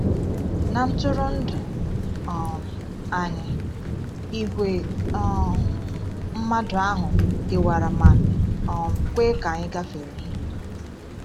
Na ntụrụndụ um anyị, ìgwè um mmadụ ahụ kewara ma um kwe ka anyị gafere.